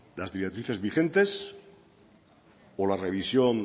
las directrices vigentes o la revisión